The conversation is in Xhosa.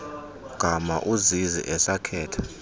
gama uzizi esakhetha